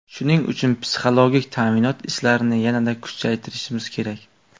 Shuning uchun psixologik ta’minot ishlarini yanada kuchaytirishimiz kerak.